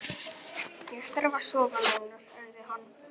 Ég þarf að sofa núna, sagði hann.